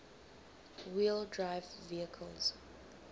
wheel drive vehicles